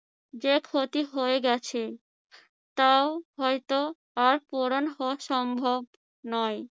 যে ক্ষতি হয়ে গেছে তাও হয়ত আর পূরণ হওয়া সম্ভব নয়।